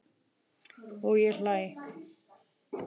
Og ég hlæ.